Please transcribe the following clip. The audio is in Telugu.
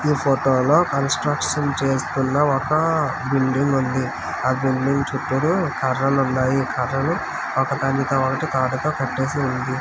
ఈ ఫోటో లో కన్స్ట్రక్షన్ చేస్తున్న ఒక బిల్డింగ్ వుంది. ఆ బిల్డింగ్ చుట్టూరు కర్రలు ఉన్నాయి కర్రలు ఒకదానితో ఒక్కటి రాటతో కట్టేసివుంది.